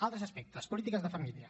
altres aspectes polítiques de família